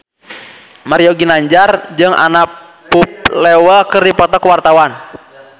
Mario Ginanjar jeung Anna Popplewell keur dipoto ku wartawan